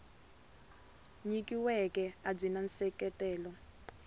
nyikiweke a byi na nseketelo